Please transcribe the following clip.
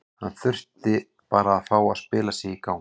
Hann þurfti bara að fá að spila sig í gang.